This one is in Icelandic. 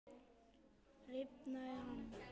Rifnaði hann?